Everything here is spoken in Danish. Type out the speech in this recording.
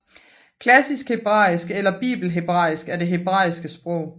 Klassisk hebraisk eller bibelsk hebraisk er det hebraiske sprog